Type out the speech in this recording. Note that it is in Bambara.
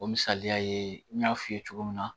O misaliya ye n y'a f'i ye cogo min na